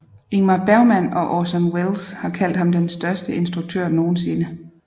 Ingmar Bergman og Orson Welles har kaldt ham den største instruktør nogensinde